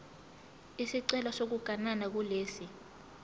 isicelo sokuganana kulesi